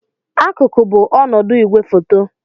Akụkụ bụ ọnọdụ igwefoto.